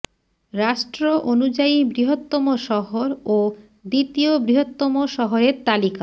রাষ্ট্র অনুযায়ী বৃহত্তম শহর ও দ্বিতীয় বৃহত্তম শহরের তালিকা